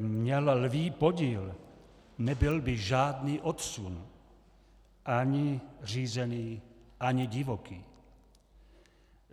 měl lví podíl, nebyl by žádný odsun, ani řízený, ani divoký.